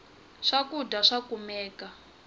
swakudya swa kumeka